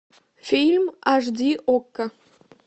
фильм аш ди окко